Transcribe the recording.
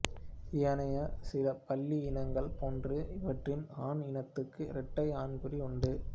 ஏனைய சில பல்லி இனங்களைப் போன்று இவற்றின் ஆண் இனத்துக்கும் இரட்டை ஆண்குறிகள் உண்டு